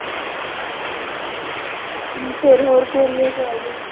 ਫਿਰ ਹੋਰ ਗੋਰੀ ਹੋ